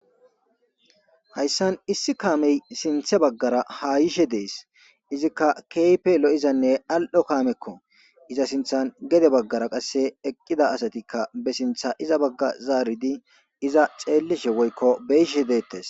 hayssan issi kaamey sinthe baggara ha yishe dees izikka keype lo7izanne al7o kaamekko iza sinthan gede baggara qasse eqqida asatikka be sintha iza bagga zaaridi iza xeellishe woykko beyishe deettes